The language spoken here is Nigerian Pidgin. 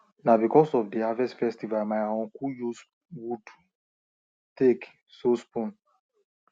na because of the harvest festival my uncle use wood take so spoon